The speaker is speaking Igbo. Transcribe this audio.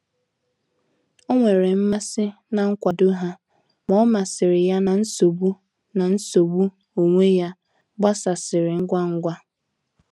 Ọ nwere mmasị na nkwado ha, ma omasiri ya na nsogbu na nsogbu onwe ya gbasasịrị ngwa ngwa.